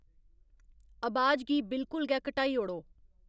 अबाज गी बिल्कुल गै घटाई ओड़ो